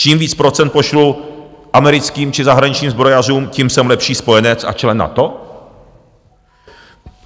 Čím víc procent pošlu americkým či zahraničním zbrojařům, tím jsem lepší spojenec a člen NATO?